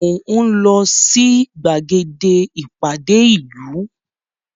Mo ń lọ sí gbàgede ìpàdé ìlú